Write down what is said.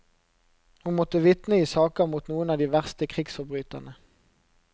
Hun måtte vitne i saker mot noen av de verste krigsforbryterne.